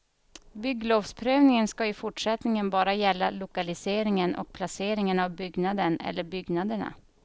Bygglovsprövningen ska i fortsättningen bara gälla lokaliseringen och placeringen av byggnaden eller byggnaderna.